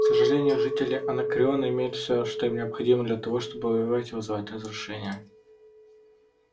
к сожалению жители анакреона имеют всё что им необходимо для того чтобы воевать и вызывать разрушения